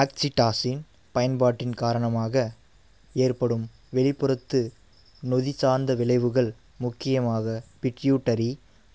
oxytocin பயன்பாட்டின் காரணமாக ஏற்படும் வெளிப்புறத்து நொதி சார்ந்த விளைவுகள் முக்கியமாக பிட்யூட்டரி